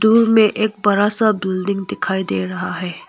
दूर में एक बरा सा बिल्डिंग दिखाई दे रहा है।